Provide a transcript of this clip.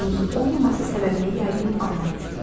İndi pulunuzun olmaması səbəbini yəqin anladız.